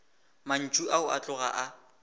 mantšu ao a tloga a